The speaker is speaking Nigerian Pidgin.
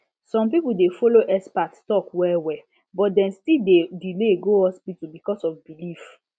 some people dey follow expert talk well well but dem still dey delay go hospital because of belief